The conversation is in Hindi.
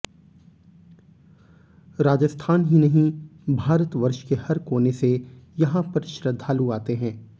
राजस्थान ही नहीं भारतवर्ष के हर कोने से यहाँ पर श्रद्धालु आते हैं